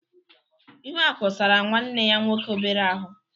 Ihuaku sara nwanne ya nwoke obere ahụ.